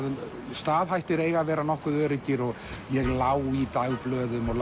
staðhættir eiga að vera nokkuð öruggir og ég lá í dagblöðum og